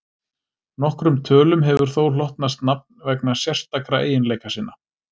Nokkrum tölum hefur þó hlotnast nafn vegna sérstakra eiginleika sinna.